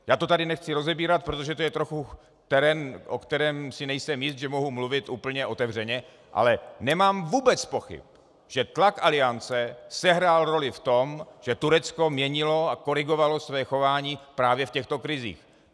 Já to tady nechci rozebírat, protože to je trochu terén, o kterém si nejsem jist, že mohu mluvit úplně otevřeně, ale nemám vůbec pochyb, že tlak Aliance sehrál roli v tom, že Turecko měnilo a korigovalo své chování právě v těchto krizích.